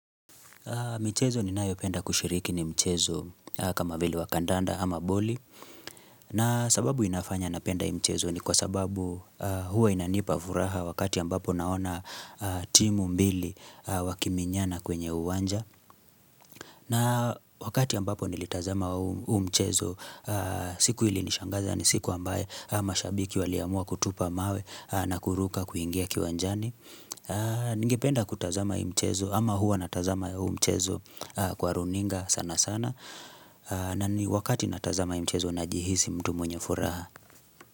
Mchezo ni nayopenda kushiriki ni mchezo kama vile wa kandanda ama boli na sababu inafanya napenda mchezo ni kwa sababu huwa inanipa furaha wakati ambapo naona timu mbili wakiminyana kwenye uwanja na wakati ambapo nilitazama huu mchezo siku ilinishangaza ni siku ambaye mashabiki waliamua kutupa mawe na kuruka kuingia kiwanjani. Ningependa kutazama hii mchezo Ama huwa natazama huu mchezo Kwa runinga sana sana na ni wakati natazama yu mchezo Najihisi mtu mwenye furaha.